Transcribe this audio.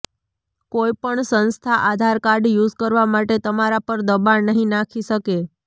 કોઈ પણ સંસ્થા આધાર કાર્ડ યુઝ કરવા માટે તમારા પર દબાણ નહીં નાખી શકે